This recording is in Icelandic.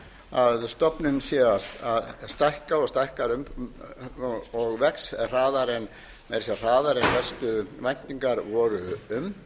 að stofninn sé að stækka og vex hraðar en helstu væntingar voru um